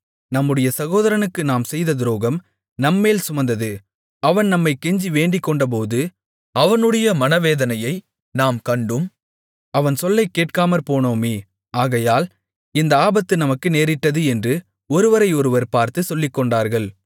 நம்முடைய சகோதரனுக்கு நாம் செய்த துரோகம் நம்மேல் சுமந்தது அவன் நம்மைக் கெஞ்சி வேண்டிக்கொண்டபோது அவனுடைய மனவேதனையை நாம் கண்டும் அவன் சொல்லைக் கேட்காமற்போனோமே ஆகையால் இந்த ஆபத்து நமக்கு நேரிட்டது என்று ஒருவரை ஒருவர் பார்த்துச் சொல்லிக்கொண்டார்கள்